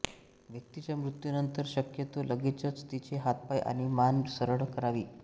व्यक्तीच्या मृत्यूनंतर शक्यतो लगेचच तिचे हातपाय आणि मान सरळ करावी